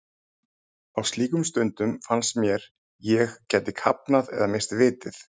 Á slíkum stundum fannst mér sem ég gæti kafnað eða misst vitið.